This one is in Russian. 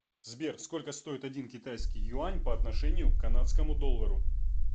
сбер сколько стоит один китайский юань по отношению к канадскому доллару